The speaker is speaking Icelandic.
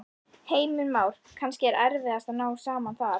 Heimir Már: Kannski erfiðast að ná saman þar?